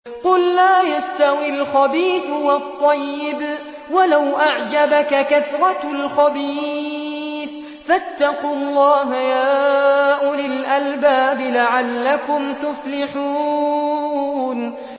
قُل لَّا يَسْتَوِي الْخَبِيثُ وَالطَّيِّبُ وَلَوْ أَعْجَبَكَ كَثْرَةُ الْخَبِيثِ ۚ فَاتَّقُوا اللَّهَ يَا أُولِي الْأَلْبَابِ لَعَلَّكُمْ تُفْلِحُونَ